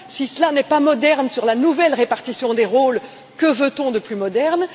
Si cela n'est pas moderne sur la nouvelle répartition des rôles, que veut on de plus moderne?